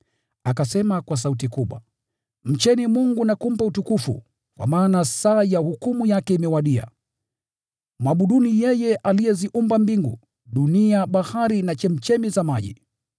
Akasema kwa sauti kubwa, “Mcheni Mungu na kumpa utukufu, kwa maana saa ya hukumu yake imewadia. Mwabuduni yeye aliyeziumba mbingu, dunia, bahari na chemchemi za maji.”